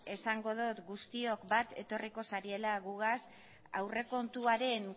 esango dut guztiok bat etorriko zariela gugaz aurrekontuaren